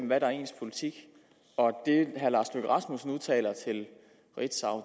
hvad der er ens politik og at det herre lars løkke rasmussen udtaler til ritzau